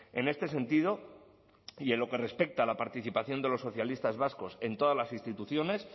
en este sentido y en lo que respecta a la participación de los socialistas vascos en todas las instituciones